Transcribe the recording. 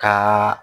Ka